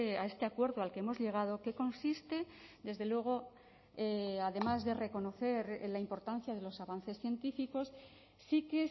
a este acuerdo al que hemos llegado que consiste desde luego además de reconocer la importancia de los avances científicos sí que